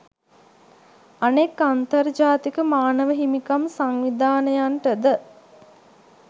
අනෙක් අන්තර් ජාතික මානව හිමිකම් සංවිධානයන්ට ද